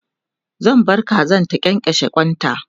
zan bar Kazan ta kyankyashe kwanta